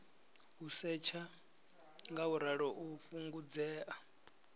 u setsha ngauralo u fhungudzea